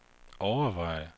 overveje